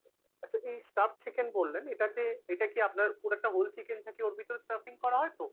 আচ্ছা এই stuffed chicken বললেন এটাতে এটা কি আপনার পুরো একটা whole chicken থাকে ওটার ভিতরে stuffing করা হয় তো ?